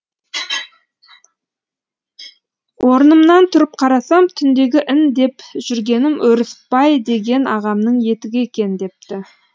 орнымнан тұрып қарасам түндегі ін деп жүргенім өрісбай деген ағамның етігі екен депті